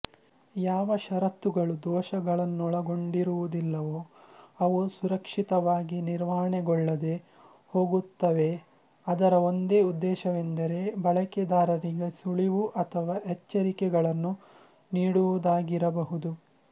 ಯಾವ ಷರತ್ತುಗಳು ದೋಷಗಳನ್ನೊಳಗೊಂಡಿರುವುದಿಲ್ಲವೋ ಅವು ಸುರಕ್ಷಿತವಾಗಿ ನಿರ್ವಹಣೆಗೊಳ್ಳದೆ ಹೋಗುತ್ತವೆಅದರ ಒಂದೇ ಉದ್ದೇಶವೆಂದರೆ ಬಳಕೆದಾರರಿಗೆ ಸುಳಿವು ಅಥವಾ ಎಚ್ಚರಿಕೆಗಳನ್ನು ನೀಡುವುದಾಗಿರಬಹುದು